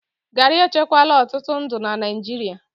garri echekwala ọtụtụ ndụ na Naịjirịa